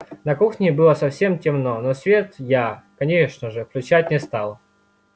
на кухне было совсем темно но свет я конечно же включать не стал